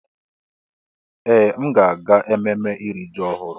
Ee! M ga-aga ememme iri ji ọhụrụ.